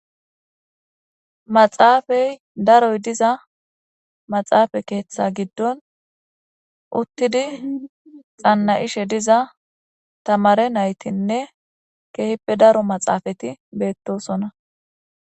Maxafeyi darroyi diza maxafe ketha giddoni utidi xana'she diza tamare naytine kehipe darro maxafeti betosona